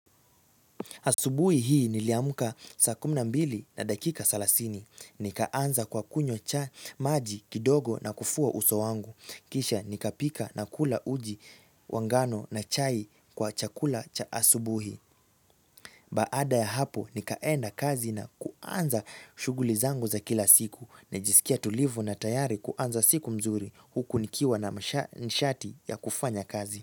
Asubuhi hii niliamka saa kumi na mbili na dakika salasini. Nikaanza kwa kunywa cha maji kidogo na kufua uso wangu. Kisha nikapika na kula uji wa ngano na chai kwa chakula cha asubuhi. Baada ya hapo nikaenda kazi na kuanza shughuli zangu za kila siku. Nilijisikia tulivu na tayari kuanza siku mzuri huku nikiwa na nishati ya kufanya kazi.